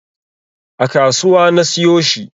A kasuwa na siyo shi